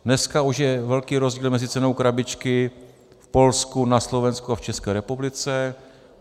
Dneska už je velký rozdíl mezi cenou krabičky v Polsku, na Slovensku a v České republice.